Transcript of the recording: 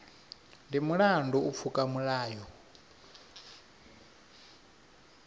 ndi mulandu u pfuka milayo